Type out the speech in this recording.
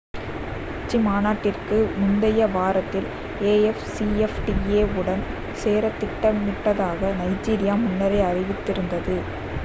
உச்சிமாநாட்டிற்கு முந்தைய வாரத்தில் afcfta வுடன் சேரத் திட்டமிட்டதாக நைஜீரியா முன்னரே அறிவித்திருந்தது